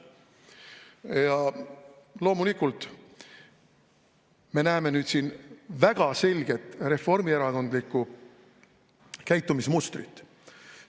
Ja loomulikult me näeme siin väga selgelt reformierakondlikku käitumismustrit.